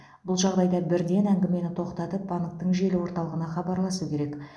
бұл жағдайда бірден әңгімені тоқтатып банктің желі орталығына хабарласу керек